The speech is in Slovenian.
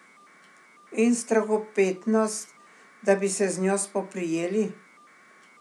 In strahopetnost, da bi se z njo spoprijeli.